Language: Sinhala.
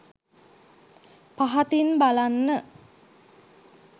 පහතින් බලන්න